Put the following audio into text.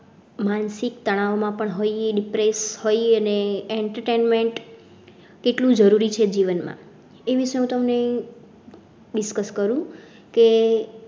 માનસિક તણાવ માં પણ હોય depress હોય અને entertainment કેટલું જરૂરી છે જીવનમાં એ વિષય હું તમને discuss કરુ કે